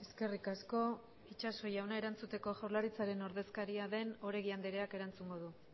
eskerrik asko itxaso jauna erantzuteko jaurlaritzaren ordezkaria den oregi andreak erantzungo du